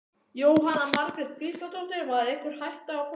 Jóhanna Margrét Gísladóttir: Var einhver hætta á fólki?